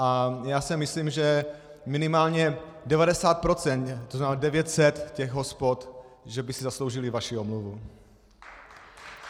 A já si myslím, že minimálně 90 %, to znamená 900 těch hospod, by si zasloužilo vaši omluvu.